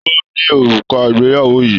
Ta ló ni òrùka ìgbéyàwó yìí?